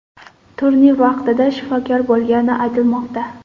Turnir vaqtida shifokor bo‘lgani aytilmoqda.